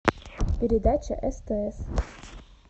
передача стс